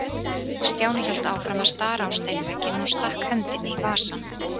Stjáni hélt áfram að stara á steinvegginn og stakk hendinni í vasann.